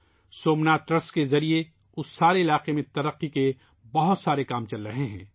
Somnath trust کے ذریعہ اس پورے علاقے میں بہت سارے ترقیاتی کام جاری ہیں